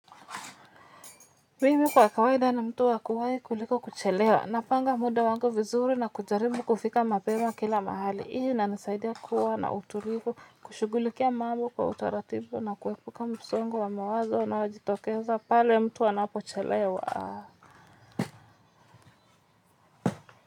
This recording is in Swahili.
Mimi kwa kawaida na mtu wa kuwai kuliko kuchelewa. Napanga muda wangu vizuri na kujaribu kufika mapema kila mahali. Hii inanisaidia kuwa na utulivu, kushughulikia mambo kwa utaratibu na kuepuka msongo wa mawazo na unaojitokeza pale mtu anapochelewa.